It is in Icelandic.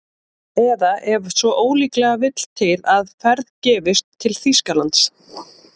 Eða ef svo ólíklega vill til að ferð gefist til Þýskalands